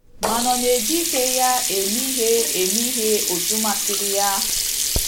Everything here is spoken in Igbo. Ma ọ̀ na - eji ike ya eme ihe eme ihe otú masịrị ya?